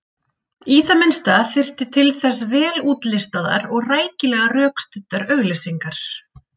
Í það minnsta þyrfti til þess vel útlistaðar og rækilega rökstuddar auglýsingar.